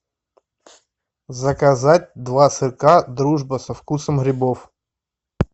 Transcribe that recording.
заказать два сырка дружба со вкусом грибов